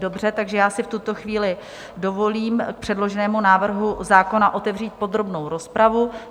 Dobře, takže já si v tuto chvíli dovolím k předloženému návrhu zákona otevřít podrobnou rozpravu.